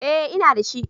Eh, ina da shi